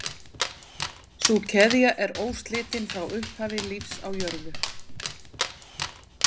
Sú keðja er óslitin frá upphafi lífs á jörðu.